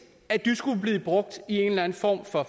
at de skulle blive brugt i en eller anden form for